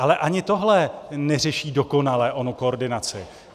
Ale ani tohle neřeší dokonale onu koordinaci.